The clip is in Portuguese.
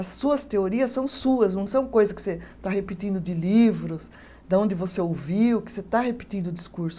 As suas teorias são suas, não são coisas que você está repetindo de livros, da onde você ouviu, que você está repetindo o discurso.